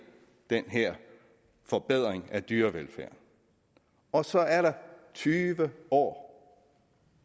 den her forbedring af dyrevelfærden og så er der tyve år